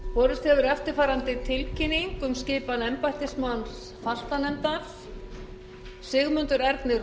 borist hefur eftirfarandi tilkynning um skipan embættismanns fastanefndar sigmundur ernir